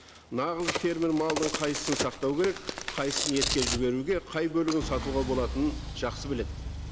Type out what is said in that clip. нағыз фермер малдың қайсысын сақтау керек қайсысын етке жіберуге қай бөлігін сатуға болатынын жақсы біледі